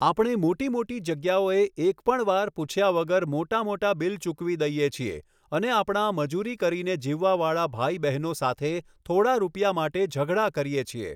આપણે મોટી મોટી જગ્યાઓએ એક પણ વાર પૂછ્યા વગર મોટા મોટા બિલ ચૂકવી દઇએ છીએ અને આપણાં મજૂરી કરીને જીવવાવાળા ભાઈ બહેનો સાથે થોડા રૂપિયા માટે ઝઘડા કરીએ છીએ.